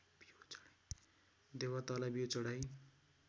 देवतालाई बिउ चढाई